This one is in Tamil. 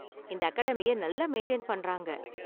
இந்த அகாடமிய நல்லா மெயின்டெயின் பண்றாங்க.